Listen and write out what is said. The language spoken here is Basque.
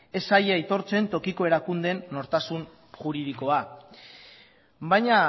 ez zaie aitortzen tokiko erakundeen nortasun juridikoa baina